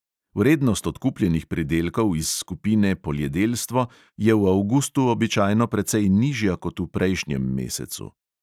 Vrednost odkupljenih pridelkov iz skupine poljedelstvo je v avgustu običajno precej nižja kot v prejšnjem mesecu.